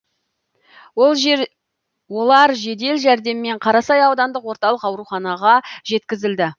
олар жедел жәрдеммен қарасай аудандық орталық ауруханаға жеткізілді